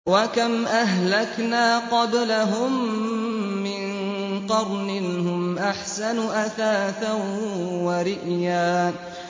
وَكَمْ أَهْلَكْنَا قَبْلَهُم مِّن قَرْنٍ هُمْ أَحْسَنُ أَثَاثًا وَرِئْيًا